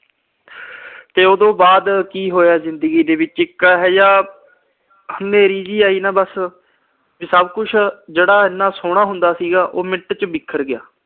ਤੇ ਉਹਤੋਂ ਬਾਅਦ ਕੀ ਹੋਇਆ ਜਿੰਦਗੀ ਵਿੱਚ ਇੱਕ ਇਹੋ ਜਿਹਾ ਹਨ੍ਹੇਰੀ ਜੀ ਆਈ ਨਾ ਬਸ, ਜਿਹੜਾ ਸਭ ਕੁਛ ਇੰਨਾ ਸੋਹਣਾ ਹੁੰਦਾ ਸੀਗਾ, ਉਹ minute ਚ ਬਿਖਰ ਗਿਆ।